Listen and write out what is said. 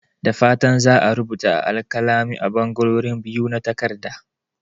Da fatan za a rubuta a alkalami a ɓangarorin biyu na takarda.